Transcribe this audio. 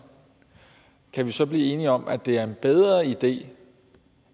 kan vi så blive enige om at det er en bedre idé